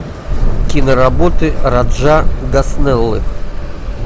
киноработы раджа госнеллы